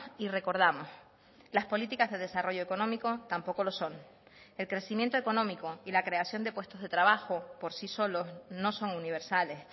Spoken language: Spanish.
y recordamos las políticas de desarrollo económico tampoco lo son el crecimiento económico y la creación de puestos de trabajo por sí solos no son universales